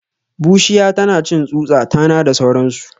Bushiya tanacin tsutsa, tana da sauransu